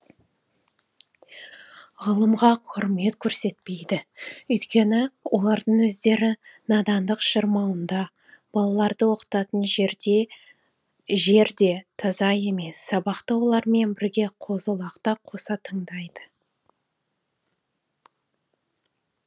ғылымға құрмет көрсетпейді өйткені олардың өздері надандық шырмауында балаларды оқытатын жер де таза емес сабақты олармен бірге қозы лақ та қоса тыңдайды